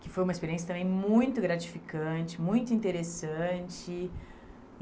que foi uma experiência também muito gratificante, muito interessante.